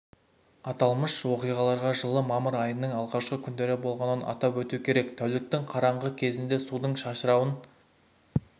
аталмыш оқиғалар жылы мамыр айының алғашқы күндері болғанын атап өту керек тәуліктің қараңғы кезінде судың шашырауын